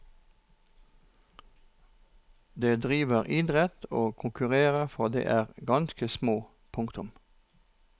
De driver idrett og konkurrerer fra de er ganske små. punktum